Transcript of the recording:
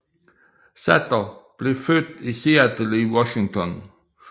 Sather blev født i Seattle i Washington